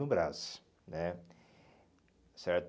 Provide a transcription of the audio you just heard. No Brás, né? Certo